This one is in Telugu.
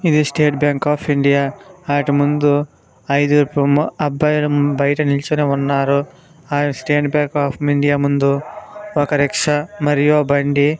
స్టేట్ బ్యాంక్ ఆఫ్ ఇండియా ఆటిముందు ఐదు గురు అబ్బాయిలు బయట నిల్చనే ఉన్నారు. స్టేట్ బ్యాంక్ ఆఫ్ ఇండియా ముందు ఒక రిక్షా మరియు ఆ బండి--